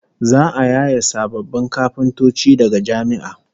Za'a yaye sababbin kafintoci daga jami'a